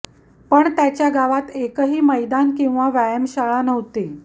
पण त्याच्या गावात एकही मैदान किंवा व्यायामशाळा नव्हती